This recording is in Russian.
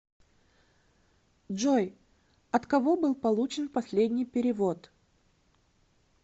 джой от кого был получен последний перевод